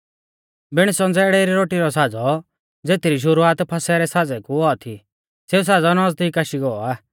बिण संज़ेड़ै री रोटी रौ साज़ौ ज़ेथरी शुरुआत फसह रै साज़ै कु औआ थी सेऊ साज़ौ नौज़दीक आशी गौ आ